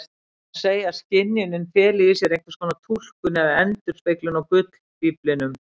Því má segja að skynjunin feli í sér einskonar túlkun eða endurspeglun á gullfíflinum.